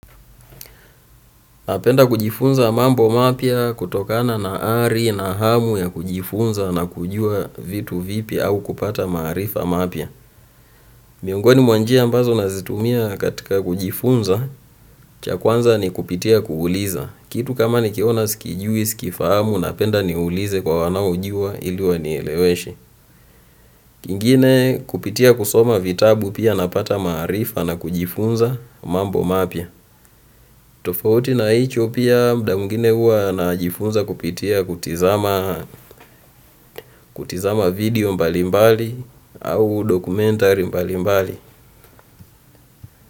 Napenda kujifunza mambo mapya kutokana na ari na hamu ya kujifunza na kujua vitu vipi au kupata maarifa mapya. Miongoni mwa njia ambazo nazitumia katika kujifunza, cha kwanza ni kupitia kuuliza. Kitu kama nikiona sikijui, sikifahamu, napenda niulize kwa wanaojua ili wanieleweshe. Kingine kupitia kusoma vitabu pia napata maarifa na kujifunza mambo mapya. Tofauti na hicho pia muda mwingine huwa najifunza kupitia kutizama kutizama video mbalimbali au documentary mbalimbali.